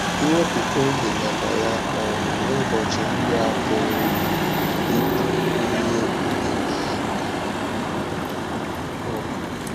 Iwèpụ̀tā oge maka ya um n’ụbọchị ndị a pụrụ ịbụ ihe ịmà àkà. um